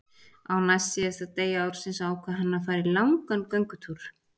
Á næstsíðasta degi ársins ákvað hann að fara í langan göngutúr.